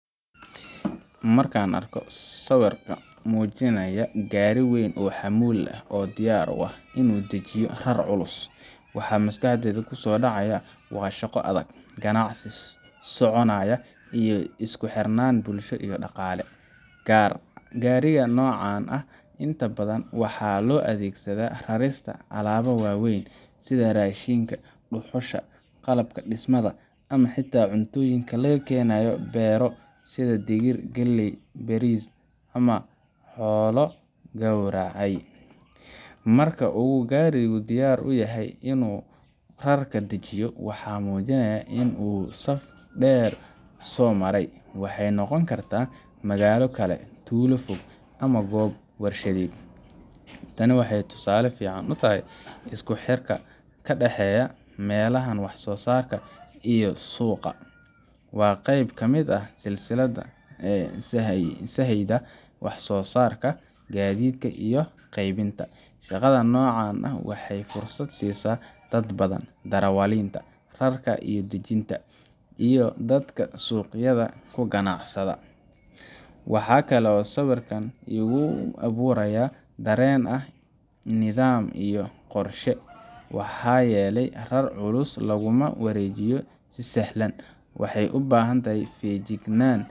Marka aan arko sawirkan oo muujinaya gaari weyn oo xamuul ah oo diyaar u ah inuu dejiyo rar culus, waxa maskaxdayda kusoo dhacaya waa shaqo adag, ganacsi soconaya, iyo isku xirnaan bulsho iyo dhaqaale. Gaariga noocan ah inta badan waxaa loo adeegsadaa rarista alaabaha waaweyn sida raashinka, dhuxusha, qalabka dhismaha, ama xitaa cuntooyin laga keenayo beero sida digir, galley, bariis ama xoolo la gowracay. Marka uu gaarigu diyaar u yahay in uu rarka dejiyo, waxay muujinaysaa in uu saf dheer soo maray waxay noqon kartaa magaalo kale, tuulo fog ama goob warshadeed. Tani waxay tusaale fiican u tahay isku xirka ka dhexeeya meelaha wax-soo-saarka ah iyo suuqa. Waa qayb ka mid ah silsiladda sahayda wax soo saarka, gaadiidka, iyo qeybinta. Shaqada noocan ah waxay fursad siisaa dad badan: darawaliinta, rarka iyo dejinta, iyo dadka suuqyada ku ganacsada. Waxaa kale oo sawirkani igu abuurayaa dareen ah nidaam iyo qorshe maxaa yeelay rar culus laguma wareejiyo si sahlan, waxay u baahan tahay feejignaan.